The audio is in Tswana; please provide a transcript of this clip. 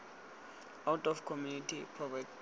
out of community of property